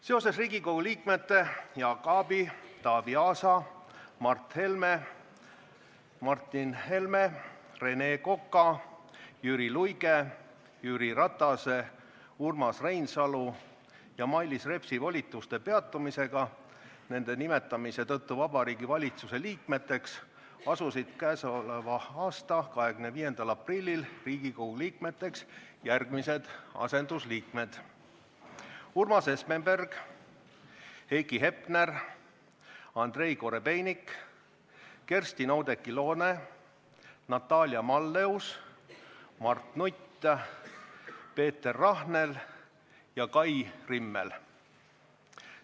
Seoses Riigikogu liikmete Jaak Aabi, Taavi Aasa, Mart Helme, Martin Helme, Rene Koka, Jüri Luige, Jüri Ratase, Urmas Reinsalu ja Mailis Repsi volituste peatumisega nende nimetamise tõttu Vabariigi Valitsuse liikmeks asusid k.a 25. aprillil Riigikogu liikmeks järgmised asendusliikmed: Urmas Espenberg, Heiki Hepner, Andrei Korobeinik, Kerstin-Oudekki Loone, Natalia Malleus, Mart Nutt, Peeter Rahnel ja Kai Rimmel.